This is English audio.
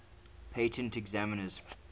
patent examiners